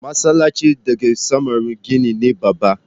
Masallacin da ke samaru gini ne babba.